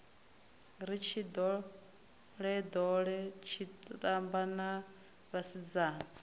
ri tshindolendole tshitamba na vhasidzana